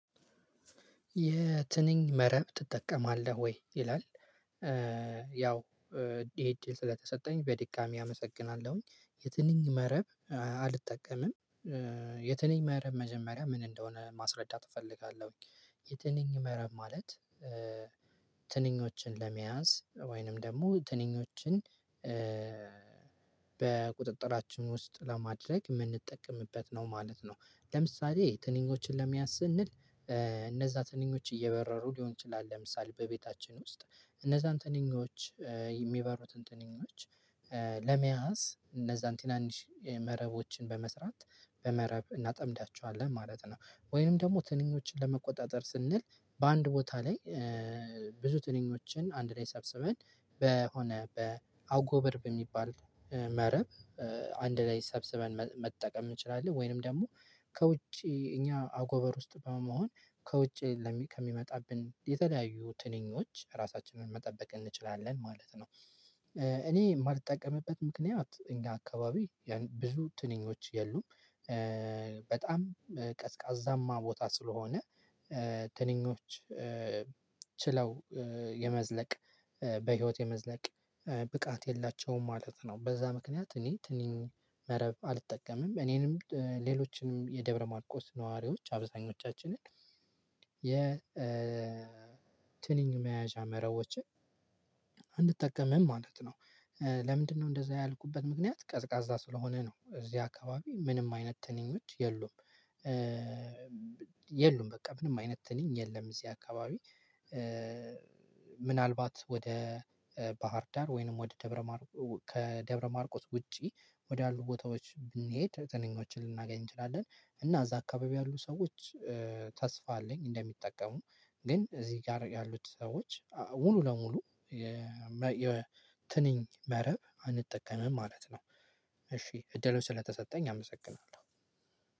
የትንኝ መረብ ትጠቀማለህ ወይ ይላል ያው ይሄ እድል ስለተሰጠኝ በድጋሚ አመሰግናለሁኝ የትንኝ መረብ አልጠቀምም የትንኝ መረብ መጀመሪያ ምን እንደሆነ ማስረዳት እፈልጋለሁኝ የትንኝ መረብ ማለት ትንኞችን ለመያዝ ወይንም ደግሞ ትንኞችን በቁጥጥራችን ውስጥ ለማድረግ የምንጠቀምበት ነው ማለት ነው ለምሳሌ ትንኞችን ለመያዝ ስንል እነዛ ትንኞች እየበረሩ ሊሆን ይችላል ለምሳሌ በቤታችን ውስጥ እነዛን ትንኞች የሚበሩትን ትንኞች ለመያዝ እነዛን ትናንሽ መረቦችን በመስራት በመረብ እናጠምዳቸዋለን ማለት ነው ወይንም ደግሞ ትንኞችን ለመቆጣጠር ስንል በአንድ ቦታ ላይ ብዙ ትንኞችን አንድ ላይ ሰብስበን በሆነ በአጎበር በሚባል መረብ አንድ ላይ ሰብስበን መጠቀም እንችላለን ወይንም ደግሞ ከውጪ እኛ አጎበር ውስጥ በመሆን ከውጪ ከሚመጣብን የተለያዩ ትንኞች ራሳችንን መጠበቅ እንችላለን ማለት ነው እኔ የማልጠቀምበት ምክንያት እኛ አካባቢ ብዙ ትንኞች የሉም በጣም ቀዝቃዛማ ቦታ ስለሆነ ትንኞች ችለው የመዝለቅ በህይወት የመዝለቅ ብቃት የላቸውም ማለት ነው በዛ ምክንያት እኔ ትንኝ መረብ አልጠቀምም እኔንም ሌሎችንም የደብረማርቆስ ነዋሪዎች አብዛኞቻችንን የትንኝ መያዣ መረቦችን አንጠቀምም ማለት ነው ለምንድነው እንደዛ ያልኩበት ምክንያት ቀዝቃዛ ስለሆነ ነው እዚህ አካባቢ ምንም አይነት ትንኞች የሉም የሉም በቃ ምንም አይነት ትልኝ የለም እዚህ አካባቢ። ምናልባት ወደ ባህር ዳር ወይንም ወደ ደብረማርቆስ ከደብረማርቆስ ውጪ ወደ አሉ ቦታዎች ብንሄድ ትንኞችን ልናገኝ እንችላለን እና እዛ አካባቢ ያሉ ሰዎች ተስፋ አለኝ እንደሚጠቀሙ ግን እዚህ ጋር ያሉት ሰዎች ሙሉ ለሙሉ የትንኝ መረብ አንጠቀምም ማለት ነው እሺ እድሉን ስለተሰጠኝ አመሰግናለሁ